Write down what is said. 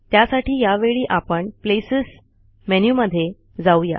त्यासाठी यावेळी आपण प्लेसेस मेनू मध्ये जाऊ या